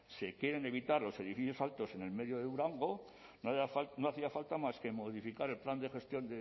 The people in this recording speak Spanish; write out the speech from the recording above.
se quieren evitar los edificios altos en el medio de durango no hacía falta más que modificar el plan de gestión